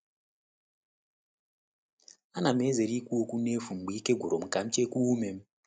A na'm ezere ikwu okwu n’efu mgbe ike gwụrụ m ka m chekwaa ume.